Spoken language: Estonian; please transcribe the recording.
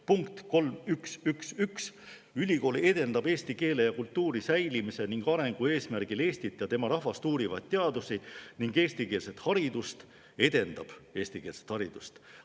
Punkt 3.1.1.1: ülikool edendab eesti keele ja kultuuri säilimise ning arengu eesmärgil Eestit ja tema rahvast uurivaid teadusi ning eestikeelset haridust – edendab eestikeelset haridust!